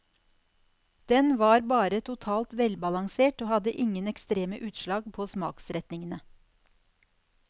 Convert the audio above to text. Den var bare totalt velbalansert og hadde ingen ekstreme utslag på smaksretningene.